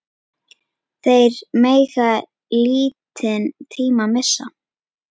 Þeir mega lítinn tíma missa.